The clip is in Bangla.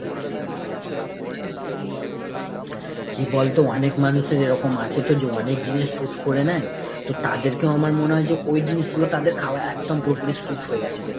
কি বলতে অনেক মানুষই এরকম আছে তো যে অনেক জিনিস suit করে নেয়, তো তাদেরকেও আমার মনে হয় যে ওই জিনিসগুলো তাদের খাওয়া একদম পুরোপুরি suit হয়ে গেছে রে।